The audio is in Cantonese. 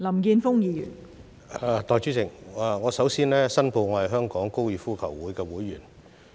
代理主席，我首先申報，我是香港哥爾夫球會的會員。